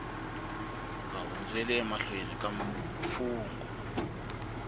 nga hundzeli emahlweni ka mfungho